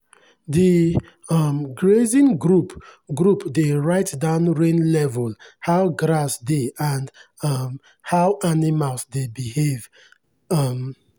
the um grazing group group dey write down rain level how grass dey and um how animals dey behave. um